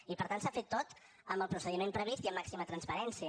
i per tant s’ha fet tot amb el procediment previst i amb màxima transparència